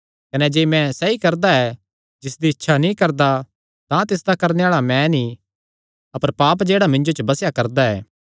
कने जे मैं सैई करदा ऐ जिसदी इच्छा नीं करदा तां तिसदा करणे आल़ा मैं नीं अपर पाप जेह्ड़ा मिन्जो च बसेया करदा ऐ